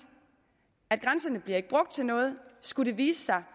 at grænserne ikke bliver brugt til noget og skulle det vise sig